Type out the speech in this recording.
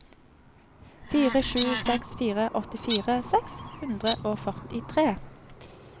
fire sju seks fire åttifire seks hundre og førtitre